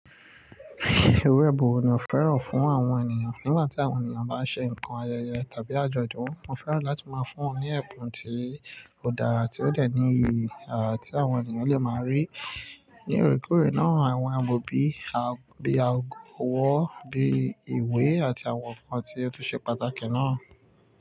Iru èbùn wo ni o fẹ́ràn fún àwọn ènìyàn nígbà tí àwọn ènìyàn bá ṣe nǹkan ayẹyẹ tàbí àjọ̀dún. Mọ́ fẹ́ràn láti máa fún won ní ẹ̀bùn tí ó dára ti ó dẹ̀ ní ìyi tí àwọn ènìyàn lè máa rí. Ní òréèkórè náà, àwọn èbùn bí i ago ọwọ́, bíi ìwé àti àwọn nǹkan tí ó tún ṣe pàtàkì náà.